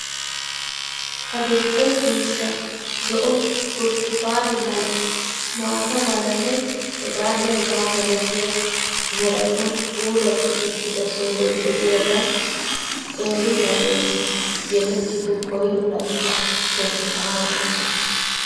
Adl"e ciishsha, zo"o, burttukane mala, maata malanne heganne hegaa malatiyaa meratun puulati uttida sohoy de'iyaagan qeeri na'essi yelettido koyro layttaa bonchchana hanoosona.